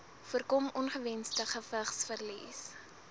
voorkom ongewensde gewigsverlies